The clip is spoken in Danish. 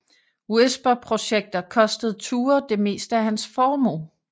Whisper projekter kostede Thure det meste af hans formue